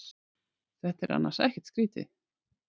Þetta er annars ekkert skrýtið.